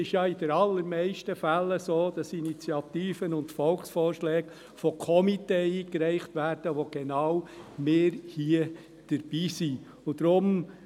In den allermeisten Fällen ist es so, dass Initiativen und Volksvorschläge von Komitees eingereicht werden, bei welchen genau wir hier dabei sind.